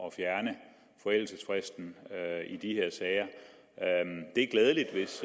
at fjerne forældelsesfristen i de her sager det er glædeligt hvis